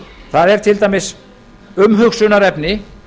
það er til dæmis umhugsunarefni